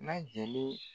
Na jeli